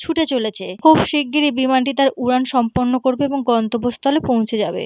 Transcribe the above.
ছুটে চলছে খুব শিগ্রি বিমানটি তার উড়ান সম্পন্ন করবে এবং গন্তব্য স্থলে এ পৌঁছে যাবে।